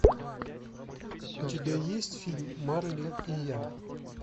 у тебя есть фильм марли и я